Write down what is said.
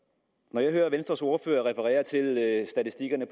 når jeg hører venstres ordfører referere til statistikkerne